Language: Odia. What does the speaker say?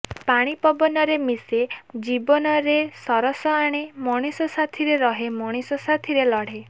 ପାଣି ପବନରେ ମିଶେ ଜୀବନରେ ରସ ଆଣେ ମଣିଷ ସାଥିରେ ରହେ ମଣିଷ ସାଥିରେ ଲଢ଼େ